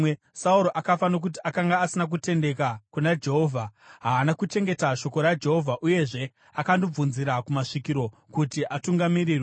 Sauro akafa nokuti akanga asina kutendeka kuna Jehovha, haana kuchengeta shoko raJehovha uyezve akandobvunzira kumasvikiro kuti atungamirirwe.